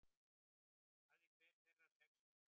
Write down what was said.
Hafði hver þeirra sex vængi.